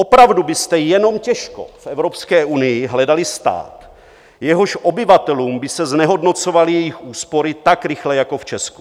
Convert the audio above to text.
Opravdu byste jenom těžko v Evropské unii hledali stát, jehož obyvatelům by se znehodnocovaly jejich úspory tak rychle jako v Česku.